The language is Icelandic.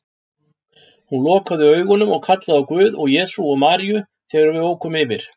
Hún lokaði augunum og kallaði á Guð og Jesú og Maríu þegar við ókum yfir